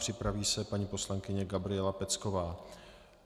Připraví se paní poslankyně Gabriela Pecková.